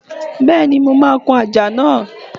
Bẹ́ẹ̀ni, mo máa kun àjà náà.